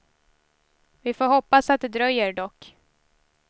Vi får hoppas att det dröjer, dock.